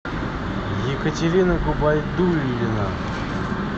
екатерина губайдуллина